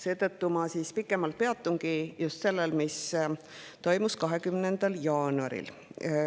Seetõttu ma pikemalt peatungi just sellel, mis toimus 20. jaanuaril.